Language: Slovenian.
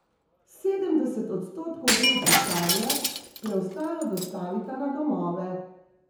Sedemdeset odstotkov gre v pisarne, preostalo dostavita na domove.